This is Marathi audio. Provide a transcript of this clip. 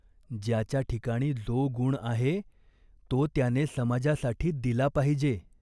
ज्याच्या ठिकाणी जो गुण आहे तो त्याने समाजासाठी दिला पाहिजे.